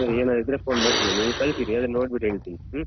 ಆಮೇಲೆ ಏನಾರ್ ಇದ್ರೆ phone ಮಾಡ್ತೀನಿ ನೀವ್ ಕಳ್ಸಿಡಿ ಅದನ್ನ್ ನೋಡ್ಬಿಟ್ಟು ಹೇಳ್ತಿನಿ ಹ್ಮ್.